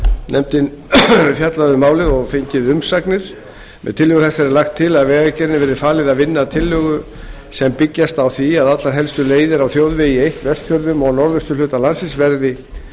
hefur fjallað um málið og fengið umsagnir með tillögu þessari er lagt til að vegagerðinni verði falið að vinna tillögur sem byggjast á því að allar helstu leiðir á þjóðvegi eitt vestfjörðum og norðausturhluta landsins verði